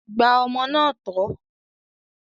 Gba ọmọ náà tọ́!